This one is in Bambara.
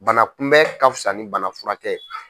Bana kunbɛn ka fisa ni bana furakɛ ye.